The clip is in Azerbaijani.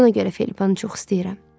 Bax buna görə Felipanı çox istəyirəm.